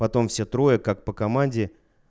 потом все трое как по команде